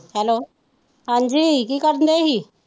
Hello ਹਾਂਜੀ ਕੀ ਕਰਦੇੇ ਸੀ?